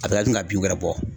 A bɛ kila tun ka bin wɛrɛ bɔ.